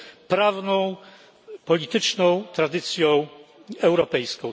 z prawną, polityczną tradycją europejską.